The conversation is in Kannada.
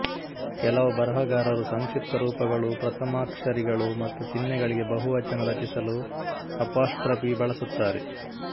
ಕೆಲವು ಬರಹಗಾರರು ಸಂಕ್ಷಿಪ್ತರೂಪಗಳು ಪ್ರಥಮಾಕ್ಷರಿಗಳು ಮತ್ತು ಚಿಹ್ನೆಗಳಿಗೆ ಬಹುವಚನ ರಚಿಸಲು ಅಪಾಸ್ಟ್ರಪಿ ಬಳಸುತ್ತಾರೆ